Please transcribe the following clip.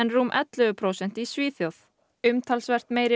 rúm ellefu prósent í Svíþjóð umtalsvert meiri